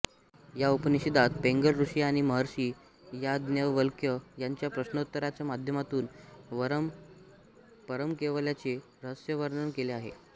या उपनिषदात पैंगल ऋषी आणि महर्षी याज्ञवल्क्य यांच्या प्रश्नोत्तरांच्या माध्यमातून परमकैवल्याचे रहस्यवर्णन केलेले आहे